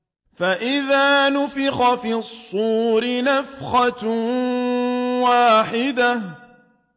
فَإِذَا نُفِخَ فِي الصُّورِ نَفْخَةٌ وَاحِدَةٌ